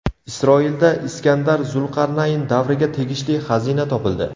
Isroilda Iskandar Zulqarnayn davriga tegishli xazina topildi.